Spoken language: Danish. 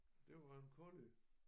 Det var en collie